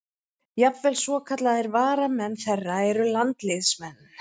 Jafnvel svokallaðir varamenn þeirra eru landsliðsmenn.